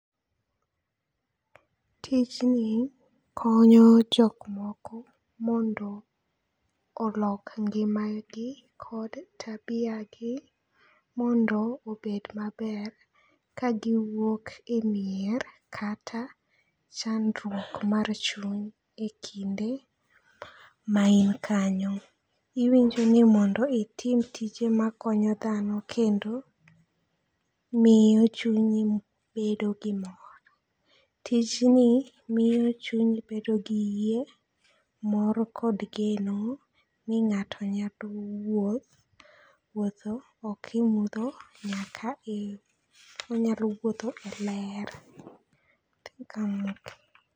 Tijni konyo jok moko mondo olok ngima gi kod tabia gi mondo obed maber, ka giwuok e mier, kata chandruok mar chuny, e kinde ma in kanyo. Iwinjo ni mondo itim tije makonyo dhano, kendo miyo chunyi bedo gi mor. Tijni miyo chunyi bedo gi yie, mor, kod geno ni ng'ato nyalo wuoth, wuotho, ok e mudho nyaka e, onyalo wuotho e ler.